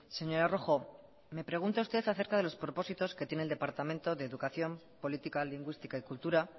señora rojo me pregunta usted a cerca de los propósitos que tiene el departamento de educación política lingüística y cultura